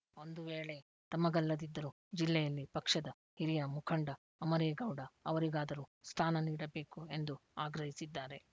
ಒಂದು ವೇಳೆ ತಮಗಲ್ಲದಿದ್ದರೂ ಜಿಲ್ಲೆಯಲ್ಲಿ ಪಕ್ಷದ ಹಿರಿಯ ಮುಖಂಡ ಅಮರೇಗೌಡ ಅವರಿಗಾದರೂ ಸ್ಥಾನ ನೀಡಬೇಕು ಎಂದು ಆಗ್ರಹಿಸಿದ್ದಾರೆ